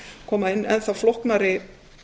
koma inn enn þá flóknari